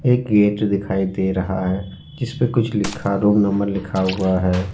एक गेट दिखाई दे रहा हैं जिसपे कुछ लिखा रूम नंबर लिखा हुआ है।